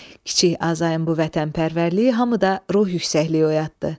Kiçik Azayın bu vətənpərvərliyi hamıda ruh yüksəkliyi oyatdı.